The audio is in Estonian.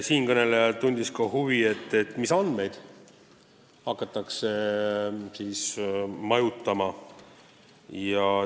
Siinkõneleja tundis huvi, mis andmeid majutama hakatakse.